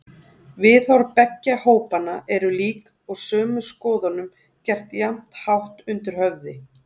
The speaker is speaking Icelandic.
Viðhorf beggja hópanna eru lík og sömu skoðunum gert jafnhátt undir höfði.